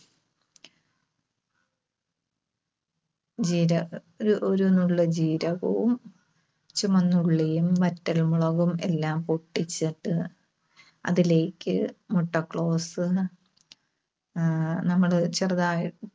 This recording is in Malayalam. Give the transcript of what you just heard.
ജീരക ഒ~ഒരു നുള്ള് ജീരകവും, ചുമന്നുള്ളിയും, വറ്റൽമുളകും എല്ലാം പൊട്ടിച്ചിട്ട് അതിലേക്ക് മുട്ടക്ലോസ്, ആഹ് നമ്മള് ചെറുതായ്